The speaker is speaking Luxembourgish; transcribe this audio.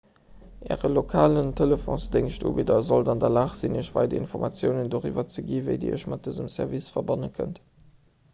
äre lokale telefonsdéngschtubidder sollt an der lag sinn iech weider informatiounen doriwwer ze ginn wéi dir iech mat dësem service verbanne kënnt